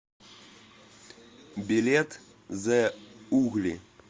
билет зэ угли